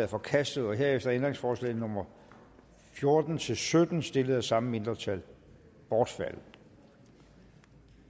er forkastet herefter er ændringsforslagene nummer fjorten til sytten stillet af samme mindretal bortfaldet